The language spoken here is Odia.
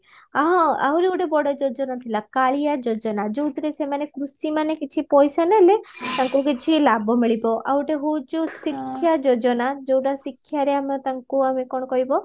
ହଁ ଆହୁରି ଗୋଟେ ବଡ ଯୋଜନା ଥିଲା କାଳିଆ ଯୋଜନା ଯୋଉଥିରେ ସେମାନେ କୃଷିମାନେ କିଛି ପଇସା ନେଲେ ତାଙ୍କୁ କିଛି ଲାଭ ମିଳିବ ଆଉ ଗୋଟେ ହଉଚି ଶିକ୍ଷା ଯୋଜନା ଯୋଉଟା ଶିକ୍ଷାରେ ଆମେ ତାଙ୍କୁ ଆମ କଣ କହିବ